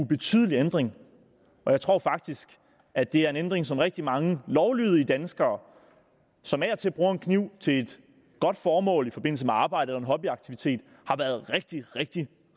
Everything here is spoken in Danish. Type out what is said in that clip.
ubetydelig ændring og jeg tror faktisk at det er en ændring som rigtig mange lovlydige danskere som af og til bruger en kniv til et godt formål i forbindelse med arbejdet eller en hobbyaktivitet har været rigtig rigtig